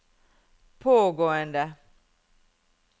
pågående